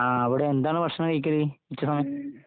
ങാ, അവിടെ എന്താണ് ഭക്ഷണം കഴിക്കല്? ഉച്ചസമയം?